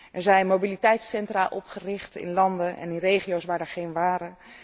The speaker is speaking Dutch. Er zijn mobiliteitscentra opgericht in landen en regio's waar er geen waren.